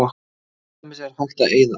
til dæmis er hægt að eyða